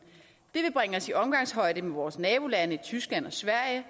det vil bringe os på omgangshøjde med vores nabolande tyskland og sverige